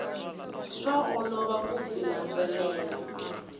swa olova ku byi landzelela